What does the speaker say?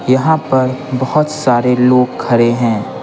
यहाँ पर बहुत सारे लोग खड़े हैं।